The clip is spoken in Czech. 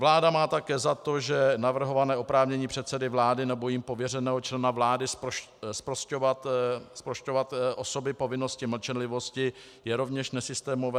Vláda má také za to, že navrhované oprávnění předsedy vlády nebo jím pověřeného člena vlády zprošťovat osoby povinnosti mlčenlivosti je rovněž nesystémové.